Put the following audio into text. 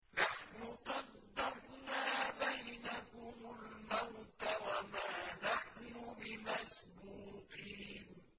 نَحْنُ قَدَّرْنَا بَيْنَكُمُ الْمَوْتَ وَمَا نَحْنُ بِمَسْبُوقِينَ